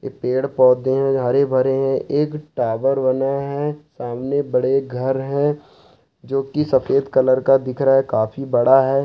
पेड़-पौधे है हरे भरे हैं एक टावर बने है सामने बड़े घर है जो की सफेद कलर का दिख रा है काफी बड़ा है।